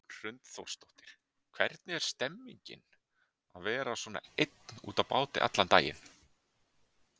Hrund Þórsdóttir: Hvernig er stemmingin að vera svona einn úti á báti allan daginn?